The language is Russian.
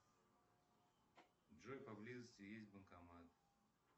джой по близости есть банкомат